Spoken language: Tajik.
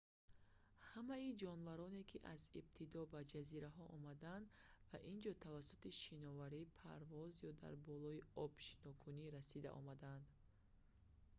ҳамаи ҷонвароне ки аз ибтидо ба ҷазираҳо омаданд ба ин ҷо тавассути шиноварӣ парвоз ё дар болои об шинокунӣ расида омадаанд